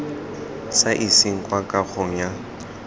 sa iseng kwa kagong ya